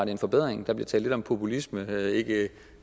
en forbedring der bliver talt lidt om populisme